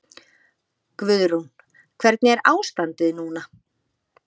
Guðrún: Hvernig er ástandið núna?